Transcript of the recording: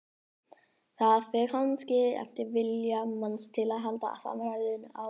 Það fer kannski eftir vilja manns til að halda samræðum áfram.